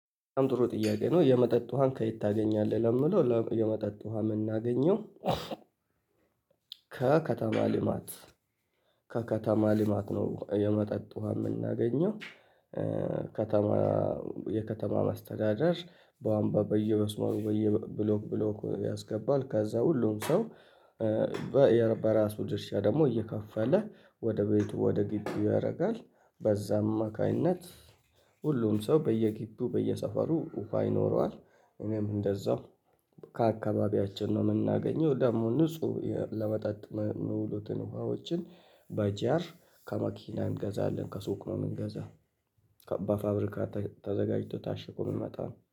በጣም ጥሩ ጥያቄ ነው የመጠጥ ውሃን ከየት ታገኛለህ ለምለው የመጠጥ ውሃ ምናገኘው? ከከተማ ልማት ከከተማ ልማት ነው የመጠጥ ውሃ ምናገኘው። ከተማ የከተማ ማስተዳደር ባቡዋ በየመስመሩ በየ ብሎክ ብሎክ ያስገባል ከዛ ሁሉም ሰው። በራሱ ድርሻ ደሞ እየከፈለ ወደ ቤቱ ወደ ግቢው ያረጋል በዛም አማካይነት ሁሉም ሰው በየጊቢው በየሰፈሩ ውሃ ይኖረዋል። እኔም እንደዛው ከአካባቢያችን ነው ምናገኘው ደሞ ንጹህ ለመጠጥ ሚውልቱን ውሃዎችን። በጂአር ከመኪና እንገዛለን ከሱቅ ነው ምንገዛ። ከባድ ፋብሪካ ተዘጋጅቶ ታሽጎ ምመጣው